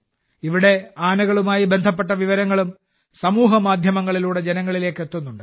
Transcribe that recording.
ഇവിടെ ആനകളുമായി ബന്ധപ്പെട്ട വിവരങ്ങളും സമൂഹമാധ്യമങ്ങളിലൂടെ ജനങ്ങളിലേക്ക് എത്തിക്കുന്നുണ്ട്